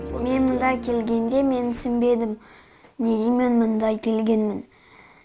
мен мұнда келгенде мен түсінбедім неге мен мұнда келгенмін